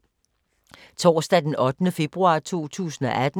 Torsdag d. 8. februar 2018